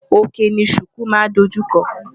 Òkè ni ṣùkú máa ń dojú kọ.